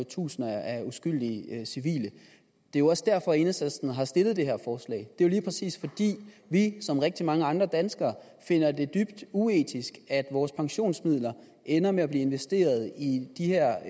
tusinder af uskyldige civile det er jo også derfor at enhedslisten har stillet det her forslag det er jo lige præcis fordi vi som rigtig mange andre danskere finder det dybt uetisk at vores pensionsmidler ender med at blive investeret i de her